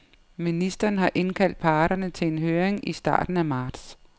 Ministeren har indkaldt parterne til en høring i starten af marts.